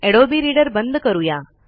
Adobe reader बंद करूया